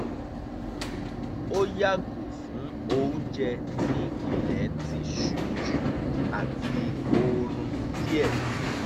ó yààgò fún oúnjẹ tí ilẹ̀ tí ṣú jù àti oorun díẹ̀